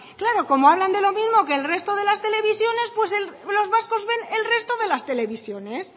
claro como hablan de lo mismo que el resto de las televisiones pues los vascos ven el resto de las televisiones